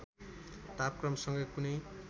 तापक्रमसँग कुनै